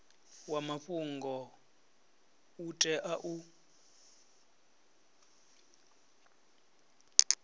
wa mafhungo u tea u